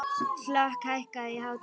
Hlökk, hækkaðu í hátalaranum.